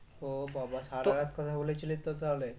ও বাবাঃ সারারাত কথা বলেছিলিস তো তাহলে